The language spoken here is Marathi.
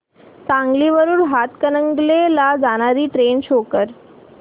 सांगली वरून हातकणंगले ला जाणारी ट्रेन शो कर